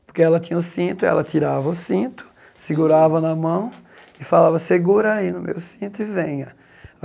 Porque ela tinha o cinto, ela tirava o cinto, segurava na mão e falava, segura aí no meu cinto e venha.